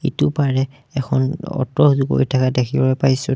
ইটো পাৰে এখন অ'টো গৈ থকা দেখিবলৈ পাইছোঁ।